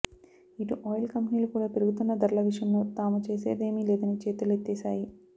ఇటు ఆయిల్ కంపెనీలు కూడా పెరుగుతున్న ధరల విషయంలో తాము చేసేదేమీ లేదని చేతులెత్తేశాయి